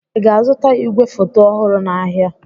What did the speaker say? Ị ga-azụta igwefoto ọhụrụ n'ahịa?